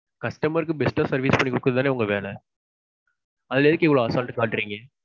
customer க்கு best டா service பன்னி குடுக்குறது தானே உங்க வேல. அதுல எதுக்கு இவ்வளவு அசால்டு காட்றிங்க?